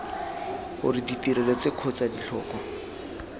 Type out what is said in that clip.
gore ditirelo tse kgotsa ditlhokwa